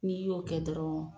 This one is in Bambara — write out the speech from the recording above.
N'i y'o kɛ dɔrɔn